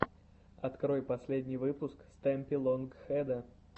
открой последний выпуск стэмпи лонг хэда